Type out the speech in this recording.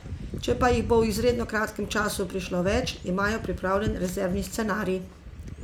Če pa jih bo v izredno kratkem času prišlo več, imajo pripravljen rezervni scenarij.